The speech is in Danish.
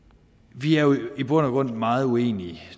vi er jo i bund og grund meget uenige